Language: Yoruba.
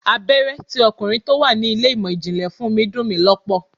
Abéré tí ọkùnrin tó wà ní ilé ìmò ìjìnlẹ̀ fún mi dun ni lọ́pọ̀.